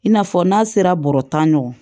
I n'a fɔ n'a sera bɔrɔ tan ɲɔgɔn ma